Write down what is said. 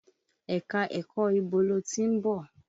Ẹ̀ka-ẹ̀kọ ibo lo ti ń bọ̀?